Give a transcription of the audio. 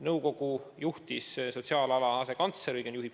Nõukogu on juhtinud sotsiaalala asekantsler.